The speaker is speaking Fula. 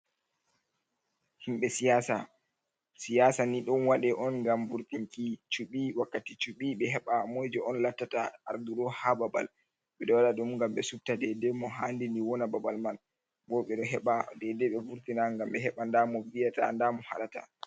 Himɓe siyaasa, siyaasa ni ɗon waɗe on ngam vurtinki cuɓi wakkati cuɓi ɓe heɓa moyjo on lattata aarduɗo haa babal, ɓe ɗo waɗa ɗum ngam ɓe suɓta deydey mo haandi ni wona babal man, boo ɗe ɗo heɓa deydey ɓe vurtina ngam ɓe heɓa ndaa mo viyata ndaa mo haɗata.